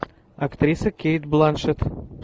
актриса кейт бланшетт